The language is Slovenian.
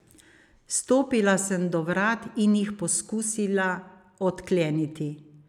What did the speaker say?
Stopila sem do vrat in jih poskusila odkleniti.